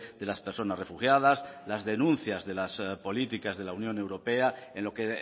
de las personas refugiadas las denuncias de las políticas de la unión europea en lo que